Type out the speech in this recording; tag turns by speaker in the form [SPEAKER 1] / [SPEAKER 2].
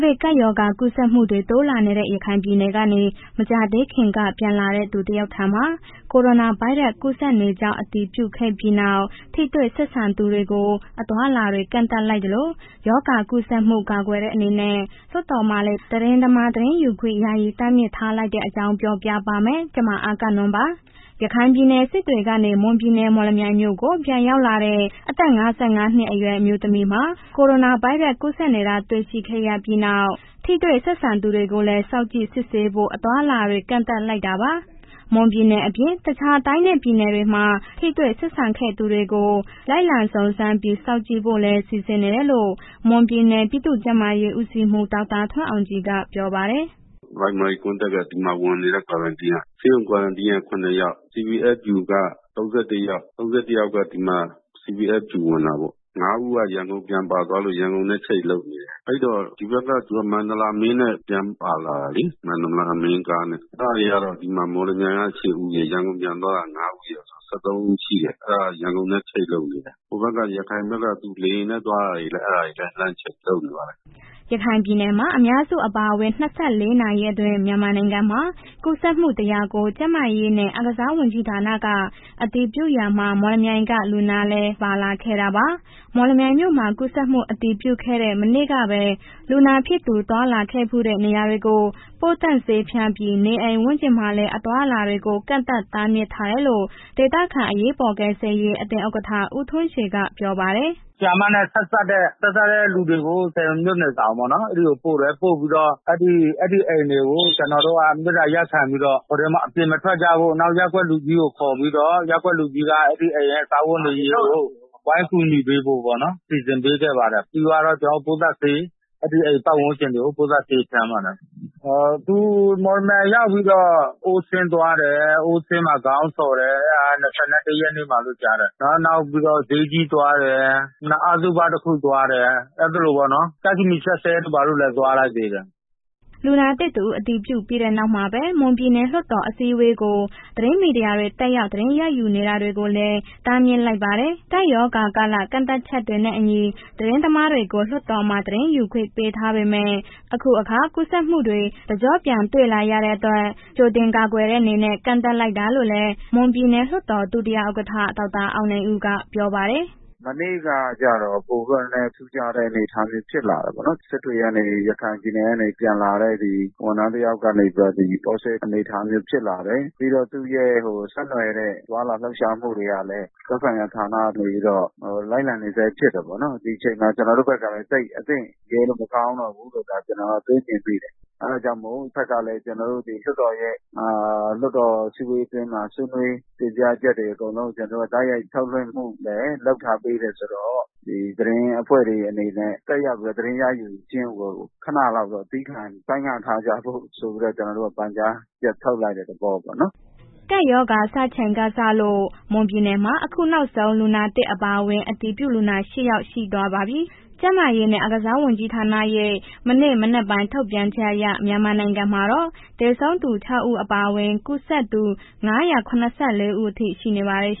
[SPEAKER 1] ဗစ်ကပ်ရောဂါ ကူးစက်မှုတွေ တိုးလာနေတဲ့ ရခိုင်ပြည်နယ်ကနေ မကြာသေးခင်ကမှာ ပြန်လာတဲ့သူတယောက်ထံမှာ ကိုရိုနာဗိုင်းရပ်စ်ပိုး ကူးစက်နေကြောင်း အတည်ပြုခဲ့ပြီးနောက် ထိတွေ့ဆက်ဆံခဲ့သူတွေကို အသွားအလာတွေ ကန့်သတ်လိုက်သလို၊ ရောဂါကူးစက်မှု ကာကွယ်တဲ့ အနေနဲ့ လွှတ်တော်မှာလည်း သတင်းသမားတွေ သတင်းယူခွင့် ယာယီတားမြစ်ထားလိုက်တဲ့အကြောင်း ပြောပြပါမယ်။ ဗွီအိုအေမြန်မာပိုင်းသတင်းထောက် မအဂ္ဂနွန်က သတင်းပေးပို့ထားပါတယ်။ ရခိုင်ပြည်နယ် စစ်တွေကနေ မွန်ပြည်နယ် မော်လမြိုင်မြို့ကို ပြန်ရောက်လာတဲ့ အသက် ၅၅ နှစ်အရွယ် အမျိုးသမီးမှာ ကိုရိုနာဗိုင်းရပ်စ် ကူးစက်နေတာ တွေ့ခဲ့ရပြီးနောက် ထိတွေ့ဆက်ဆံခဲ့သူတွေကိုလည်း စောင့်ကြည့်စစ်ဆေးဖို့ အသွားအလာတွေ ကန့်သတ်လိုက်တာပါ။ မွန်ပြည်နယ်အပြင် တခြားတိုင်းနဲ့ ပြည်နယ်တွေမှာ ထိတွေ့ဆက်ဆံခဲ့ဖူးသူတွေကို လိုက်လံစုံစမ်းပြီး စောင့်ကြည့်ဖို့လည်း စီစဉ်နေတယ်လို့ မွန်ပြည်နယ် ပြည်သူ့ကျန်းမာရေးဦးစီးမှူး ဒေါက်တာထွန်းအောင်ကြည်က ပြောပါတယ်။
[SPEAKER 2] “primary contact က ဒီမှာ ဝင်နေတဲ့ quarantine က ဆေးရုံ quarantine က ၇ ယောက်၊ CBFQ ၃၁ ယောက်၊ ၃၁ ယောက်က ဒီမှာ CBFQ ဝင်တာပေါ့၊ ၅ ဦးက ရန်ကုန်ပြန်ပါသွားလို့ ရန်ကုန်နဲ့ ချိတ်လုပ်နေတယ်။ အဲ့တော့ ဒီဘက်က မန္တလာမင်းနဲ့ပြန်ပါလာတယ်လေ။ မန္တလာမင်း ကားနဲ့ အဲ့ဒါက မော်လမြိုင်က ၈ ဦးရယ်၊ ရန်ကုန်ပြန်သွားတာ ၅ ဦးရယ်ဆိုတော့ ၁၃ ဦးရှိတယ်။ အဲ့ဒါရန်ကုန်နဲ့ချိတ် လုပ်နေတယ်၊ ဟိုဘက်က ရခိုင်ဘက်က သူလေယာဉ်နဲ့ သွားထားတယ် အဲ့ဒါတွေလည်း လမ်းချိတ်လုပ်နေပါတယ်။”
[SPEAKER 1] ရခိုင်ပြည်နယ်မှာ အများစုအပါအဝင် ၂၄ နာရီအတွင်း မြန်မာနိုင်ငံမှာ ကူးစက်မှု ၁၀၀ ကို ကျန်းမာရေးနဲ့ အားကစား ဝန်ကြီးဌာနက အတည်ပြုရာမှာ မော်လမြိုင်မြို့က လူနာလည်း ပါဝင်လာခဲ့တာပါ။ မော်လမြိုင်မြို့မှာ ကူးစက်မှုအတည်ပြုခဲ့တဲ့ မနေ့ကပဲ လူနာဖြစ်သူ သွားလာခဲ့ဘူးတဲ့ နေရာတွေကို ပိုးသတ်ဆေးဖျန်းပြီး နေအိမ်ဝန်းကျင်မှာလည်း အသွားအလာတွေကို ကန့်သတ်တားမြစ်ထားတယ်လို့ ဒေသခံ အရေးပေါ်ကယ်ဆယ်ရေး အသင်းဥက္ကဋ္ဌ ဦးထွန်းရွှေက ပြောပါတယ်။
[SPEAKER 3] “ဆရာမနဲ့ ဆက်စပ်တဲ့လူတွေကို ၁၀ မြို့နယ်ဆောင်ပေါ့နော် အဲ့ဒီကိုပို့တယ်၊ ပို့ပြီးတော့ အဲ့ဒီအိမ်တွေကို ကျနော်တို့က မေတ္တာရပ်ခံပြီးတော့ အပြင်မထွက်ကြဖို့ နောက်ရပ်ကွက်လူကြီးကို ခေါ်ပြီးတာ့ ရပ်ကွက်လူကြီးက အဲ့ဒီအိမ်ရဲ့ စားဝတ်နေရေးကို ဝိုင်းကူညီပေးဖို့ပေ့ါနော်။ စီစဉ်ပေးခဲ့ပါတယ်။ ပြီးသွားတော့ ပိုးသတ်ဆေး အဲ့အိမ်ပတ်ဝန်းကျင်ကို ပိုးသတ်ဆေးဖျန်းသွားတယ်။ သူမော်လမြိုင်ရောက်ပြီးတော့ ocean သွားတယ်၊ ocean မှာ ခေါင်းလျှော်တယ်။ အဲ့ဒါက ၂၁ ရက်မှာလို့ ကြားတယ်နော်။ နောက်ပြီးတော့ ဈေးကြီးသွားတယ်၊ နောက်အသုဘတစ်ခုသွားတယ်။ အဲ့သလိုပေါ့နော် ကျိုက္ခမီ၊ စက်စဲတို့ ဘာတို့လည်း သွားလိ
[SPEAKER 4] ုက်သေးတယ်။”
[SPEAKER 1] လူနာသစ်တဦး အတည်ပြုခဲ့တဲ့နေ့မှာပဲ မွန်ပြည်နယ်လွှတ်တော် အစည်းအဝေးကို သတင်းမီဒီယာတွေ တက်ရောက်သတင်း ရယူနေတာတွေကိုလည်း တားမြစ်လိုက်ပါတယ်။ ကပ်ရောဂါကာလ ကန့်သတ်ချက်တွေနဲ့အညီ သတင်းသမားတွေကို လွှတ်တော်မှာ သတင်းယူခွင့် ပေးထားပေမဲ့ အခုအခါ ကူးစက်မှုတွေ တကျော့ပြန်တွေ့လာရတဲ့အတွက် ကြိုတင်ကာကွယ်တဲ့အနေနဲ့ ကန့်သတ်လိုက်တာလို့လည်း မွန်ပြည်နယ်လွှတ်တော် ဒုတိယဥက္ကဋ္ဌ ဒေါက်တာအောင်ဦးက ပြောပါတယ်။ “
[SPEAKER 4] မနေ့ကကျတော့ ပိုပြီးတော့ နည်းနည်းထူးခြားတဲ့ အနေအထားမျိုးဖြစ်လာတယ်ပေ့ါနော်၊ စစ်တွေက ရခိုင်ပြည်နယ်ကနေပြန်လာတဲ့ ဒီဝန်ထမ်းတစ်ယောက်ကပြီးတော့ positive အနေအထားမျိုးဖြစ်လာတယ်။ ပြီးတော့ သူ့ရဲ့ ဆက်နွယ်တဲ့ သွားလာလှုပ်ရှာမှုတွေကလည်း သက်ဆိုင်ရာဌာနကနေပြီးတော့ လိုက်လံနေဆဲလည်းဖြစ်တယ်ပေါ့နော်၊ ဒီချိန်မှာ ကျနော်တို့ဘက်ကလည်း သိပ်အတင့်ရဲလို့ မကောင်းတော့ ကျနော်က တွေးမြင်မိတယ်၊ အဲ့ဒါကြောင့်မို့ တဘက်ကလည်း ကျနော်တို့ လွှတ်တော်အစည်းအဝေးထဲမှာ ဆွေးနွေးတင်ပြချက်တွေ အကုန်လုံးက တိုက်ရိုက်ထုတ်လွှင့်မှုလည်း လုပ်ထားပေးတယ်ဆိုတော့ ဒီသတင်းအဖွဲ့တွေအနေနဲ့ တက်ရောက်ပြီးတော့ သတင်းရယူခြင်းကို ခဏလောက်သည်းခံဆိုင်းငံ့ထားကြဖို့ဆိုတော့ ကျနော်တို့က ပန်ကြားချက်ထုတ်လိုက်တဲ့ သဘောပေါ့နော်။
[SPEAKER 1] ” ကပ်ရောဂါစချိန်ကစလို့ မွန်ပြည်နယ်မှာ အခုနောက်ဆုံး လူနာသစ်အပါအဝင် အတည်ပြုလူနာ ၈ ယောက် ရှိသွားပါပြီ။ ကျန်းမာရေးနဲ့ အားကစားဝန်ကြီးဌာနရဲ့ ဒီနေ့မနက်ပိုင်း ထုတ်ပြန်ချက်အရ မြန်မာတနိုင်ငံလုံးမှာတော့ သေဆုံးသူ ၆ ဦး အပါအဝင် ကူးစက်သူ ၅၇၄ ဦးအထိ ရှိနေပါတယ်။